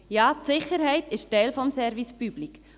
Ja, die Sicherheit ist Teil des Service public.